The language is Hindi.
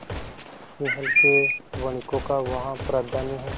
सिंहल के वणिकों का वहाँ प्राधान्य है